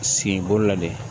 Senko la de